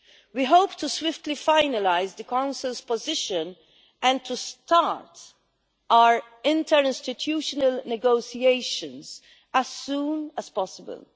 We hope to swiftly finalise the Council's position and to start our interinstitutional negotiations as soon as possible.